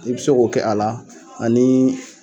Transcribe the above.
i bi se k'o kɛ a la ani